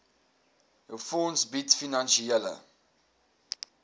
fonds bied finansiële